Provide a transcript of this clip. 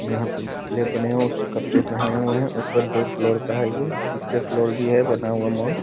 यहाँ पे पुतले बने हुए है उसमे कपड़े पहने हुए है ऊपर दो फ्लोर का है ये तीसरे फ्लोर भी है बना हुआ मॉल --